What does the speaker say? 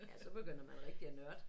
Ja så begynder man rigtig at nørde